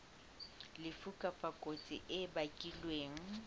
lefu kapa kotsi e bakilweng